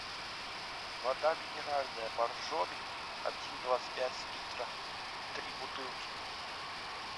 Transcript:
вода минеральная боржоми один двадцать пять литра три бутылки